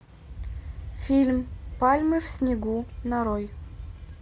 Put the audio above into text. фильм пальмы в снегу нарой